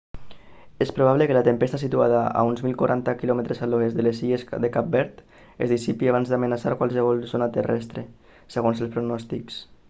és probable que la tempesta situada a uns 1040 km a l'oest de les illes de cap verd es dissipi abans d'amenaçar qualsevol zona terrestre segons els pronòstics